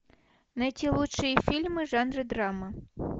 найти лучшие фильмы в жанре драма